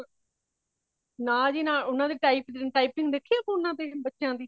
ਨਾ ਜੀ ਨਾ , ਓਨਾ ਦੇ typing ਦੇਖਿ phone ਤੇ ਬੱਚਿਆਂ ਦੀ